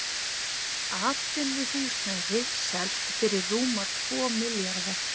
Atvinnuhúsnæði selt fyrir rúma tvo milljarða